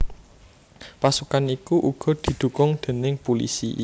Pasukan iku uga didhukung déning pulisi